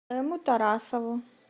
эмму тарасову